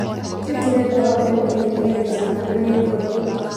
Tũĩkĩrire ndawa mbembeinĩ nĩgetha itikarĩo nĩ thuraku